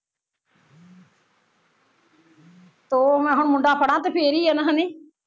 ਤੋਂ ਮੈਂ ਹੁਣ ਮੁੰਡਾ ਫੜਾ ਤੇ ਫੇਰ ਈ ਨਾ ਹਨੀ